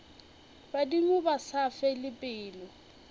badimo ba sa fele pelo